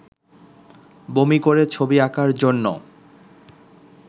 বমি করে ছবি আঁকার জন্য